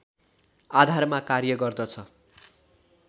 आधारमा कार्य गर्दछ